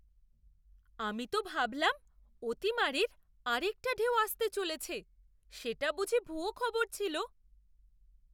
আমি তো ভাবলাম অতিমারীর আরেকটা ঢেউ আসতে চলেছে! সেটা বুঝি ভুয়ো খবর ছিল?